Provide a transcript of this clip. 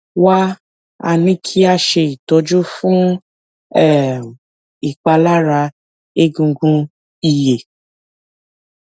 wá a ní kí a ṣe ìtọjú fún um ìpalára egungun ìyé